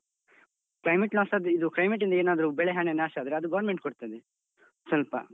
Climate loss ಆದ್ರೆ ಇದು climate ಇಂದ ಏನಾದ್ರೂ ಬೆಳೆ ಹಾನಿ ನಾಶ ಆದ್ರೆ ಅದು government ಕೊಡ್ತದೆ ಸ್ವಲ್ಪ.